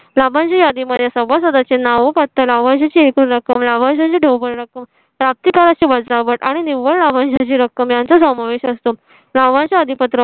लाभांश यादी मध्ये सभासदाचे नाव पत्ता लाभांश ची एकूण रक्कम लाभांश चे ढोबळ रक्कम ची वजावट आणि निव्वळ लाभांश रक्कम यांचा समावेश असतो. लाभांश अधी पत्र.